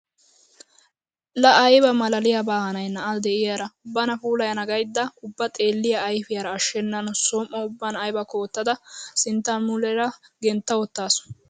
Laa ayba maalaaliyabaa hanay na'a de'iyara! Bana puulayana gaydda ubba xeelliya ayfiyara ashshennan som"o ubban aybakko wottada sinttaa nuleera gentta wottaasu.